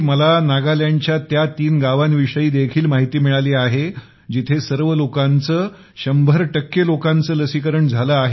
मला नागालँडच्या त्या तीन गावांविषयी देखील माहिती मिळाली आहे की जिथे सर्व लोकांचे 100लोकांचे लसीकरण झाले आहे